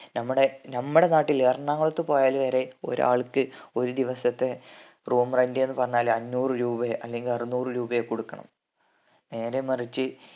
നമ്മടെ നമ്മടെ നാട്ടില് എറണാകുളത്ത് പോയാല് വരെ ഒരാൾക്ക് ഒരു ദിവസത്തെ room rent എന്ന് പറഞ്ഞാല് അഞ്ഞൂറ് രൂപയോ അല്ലെങ്കിൽ അറുന്നൂർ രൂപയോ കൊടുക്കണം നേരെ മറിച്ച്